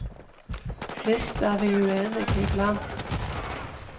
Visst er vi uenige i blant.